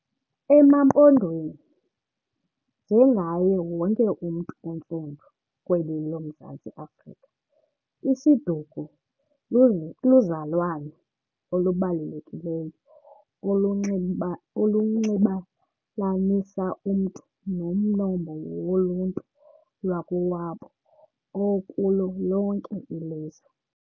EmaMpondweni, njengaye wonke umntu ontsundu kweli loMzantsi Africa isiduko luzalwano olubalulekileyo olunxibelanisa umntu nomnombo woluntu lwakowabo okulo lonke ilizwe.